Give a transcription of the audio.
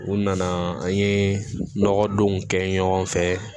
U nana an ye nɔgɔ don kɛ ɲɔgɔn fɛ